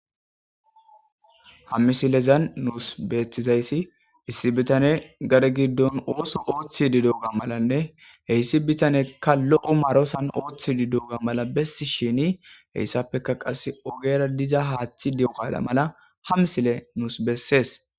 Ha misilezan nusi betiza izan issi bitane gade giddon oso oththidi didioga besiya malane he issi bitane kalo omarosan oththidi diyoga mala besishine issapeka qassi ogera biza haththi diyoga mala ha misile nusi qoncises